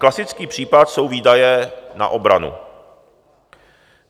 Klasický případ jsou výdaje na obranu.